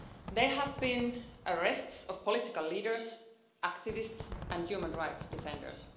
There have been arrests of political leaders, activists and human rights defenders.